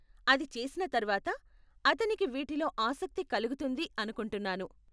అది చేసిన తర్వాత, అతనికి వీటిలో ఆసక్తి కలుగుతుంది అనుకుంటున్నాను.